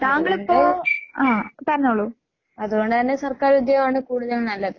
അതുകൊണ്ട് അതുകൊണ്ട് തന്നെ സർക്കാരുദ്യോഗാണ് കൂടുതൽ നല്ലത്.